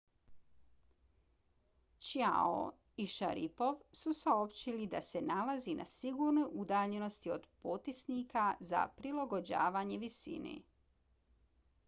chiao i sharipov su saopćili da se nalaze na sigurnoj udaljenosti od potisnika za prilagođavanje visine